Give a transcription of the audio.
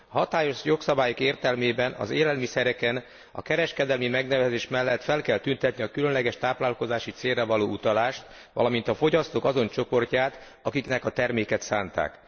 A hatályos jogszabályok értelmében az élelmiszereken a kereskedelemi megnevezés mellett fel kell tüntetni a különleges táplálkozási célra való utalást, valamint a fogyasztók azon csoportját, amelynek a terméket szánták.